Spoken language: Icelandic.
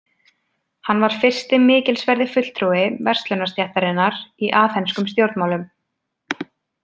Hann var fyrsti mikilsverði fulltrúi verslunarstéttarinnar í aþenskum stjórnmálum.